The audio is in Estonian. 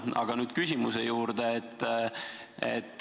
Aga nüüd küsimuse juurde.